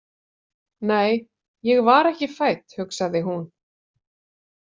Nei, ég var ekki fædd, hugsaði hún.